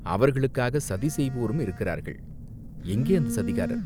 அவர்களுக்காகச் சதிசெய்வோரும் இருக்கிறார்கள், எங்கே அந்தச் சதிகாரர்